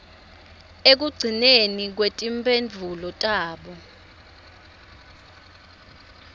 ekugcineni kwetimphendvulo tabo